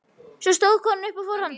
Svo stóð konan upp og fór fram.